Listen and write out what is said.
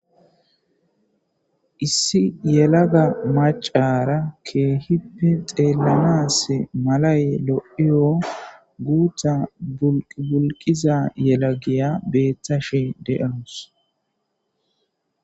Issi yelaga macara keehippe xeellamas malay lo'iyo guutta bulqiza yelagiya beettashi de'awus.